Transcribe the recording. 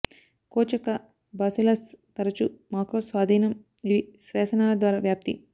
coach యొక్క bacillus తరచూ macro స్వాధీనం ఇవి శ్వాసనాళ ద్వారా వ్యాప్తి